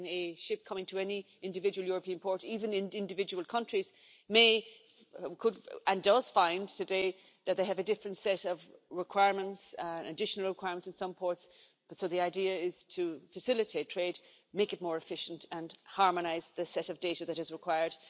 A ship coming to any individual European port, even in individual countries, may and does find today that they have a different set of requirements, additional requirements at some ports, so the idea is to facilitate trade, make it more efficient and harmonise the set of data that is required.